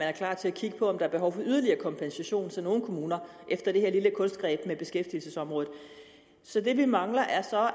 er klar til at kigge på om er behov for yderligere kompensation til nogle kommuner efter det her lille kunstgreb med beskæftigelsesområdet så det vi mangler er